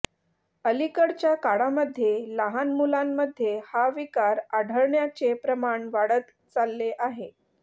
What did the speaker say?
अलीकडच्या काळामध्ये लहान मुलांमध्ये हा विकार आढळण्याचे प्रमाण वाढत चालले आहे